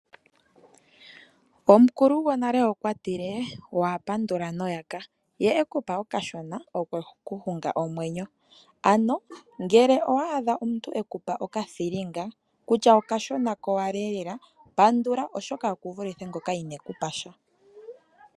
Omukulu gonale okwa tile waa pandula noyaka, ye e ku pa okashona okwe ku hunga omwenyo. Ano ngele owa adha omuntu e ku pa okathilinga kutya okashona kowala eelela, pandula oshoka oku vule ngoka ine ku pa sha.